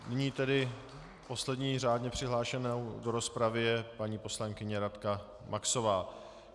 Nyní tedy poslední řádně přihlášenou do rozpravy je paní poslankyně Radka Maxová.